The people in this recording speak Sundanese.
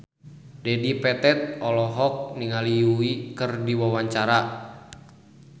Dedi Petet olohok ningali Yui keur diwawancara